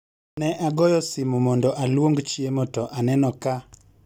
Ne agoyo simu mondo aluong chiemo to aneno ka